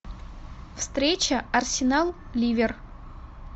встреча арсенал ливер